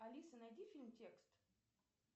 алиса найди фильм текст